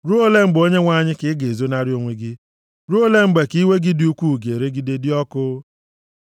Ruo ole mgbe Onyenwe anyị, ka ị ga-ezonarị onwe gị? Ruo ole mgbe ka iwe gị dị ukwuu ga-eregide dịka ọkụ?